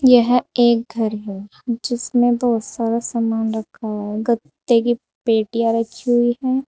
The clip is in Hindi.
यह एक घर है जिसमें बहुत सारा सामान रखा है गत्ते की पत्तियां रखी हुई हैं।